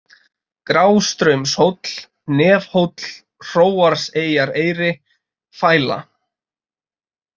Grástraumshóll, Nefhóll, Hróarseyjareyri, Fæla